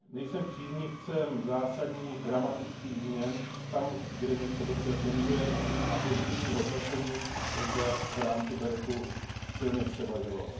Nejsem příznivcem zásadních dramatických změn tam, kde něco dobře funguje, a pozitivní hodnocení zde v rámci sdružení BEREC silně převažovalo.